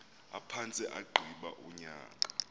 aphantse agqiba unyaka